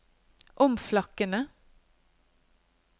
omflakkende